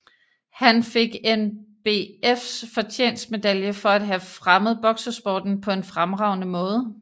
Han fik NBFs fortjenestmedalje for at have fremmet boksesporten på en fremragende måde